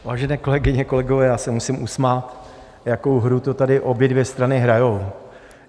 Vážené kolegyně, kolegové, já se musím usmát, jakou hru to tady obě dvě strany hrají.